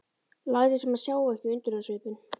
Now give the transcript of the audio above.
Lætur sem hann sjái ekki undrunarsvipinn.